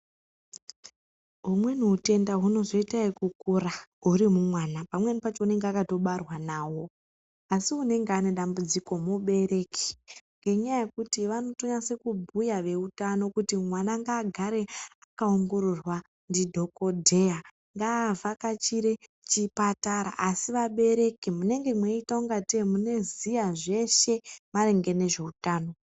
Humweni hutenda hunozoita ekukura huri mumwana, pamweni pacho anenge akatobarwa nahwo, asi unenge une dambudziko mubereki. Ngenyaya yekuti vanotonyatsekubhuya veutano kuti mwana ngaagare akaongororwa ndidhokodheya. Ngaavhakachire chipatara, asi vabereki munenge mweiita kungatei munoziya zveshe maringe ngezveutano.